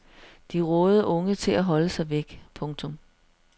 De rådede unge til at holde sig væk. punktum